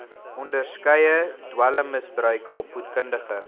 onderskeie dwelmmisbruik opvoedkundige